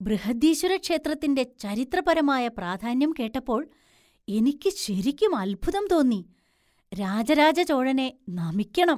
ബൃഹദീശ്വര ക്ഷേത്രത്തിന്‍റെ ചരിത്രപരമായ പ്രാധാന്യം കേട്ടപ്പോൾ എനിക്ക് ശരിക്കും അത്ഭുതം തോന്നി. രാജരാജ ചോഴനെ നമിക്കണം.